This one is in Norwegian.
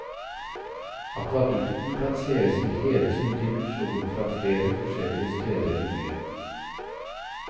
Akvadukten kan sees i hele sin dimensjon fra flere forskjellige steder i byen.